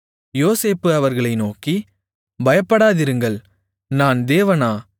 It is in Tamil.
யோசேப்பு அவர்களை நோக்கி பயப்படாதிருங்கள் நான் தேவனா